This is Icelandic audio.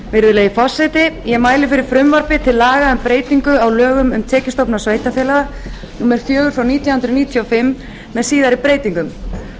virðulegi forseti ég mæli fyrir frumvarpi til laga um um breytingu á lögum um tekjustofna sveitarfélaga númer fjögur nítján hundruð níutíu og fimm með síðari breytingum